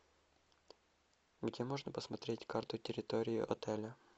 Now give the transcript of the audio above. где можно посмотреть карту территории отеля